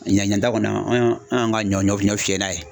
Ɲinɛnta kɔni , anw y'an anw y'an ka ɲɔ fiyɛ n'a ye.